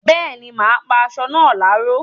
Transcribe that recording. Bẹ́ẹ̀ni, mà á pá asọ náà láró